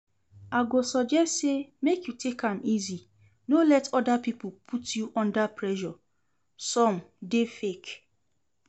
I go suggest say make you take am easy, no let other people put you under pressure, some dey fake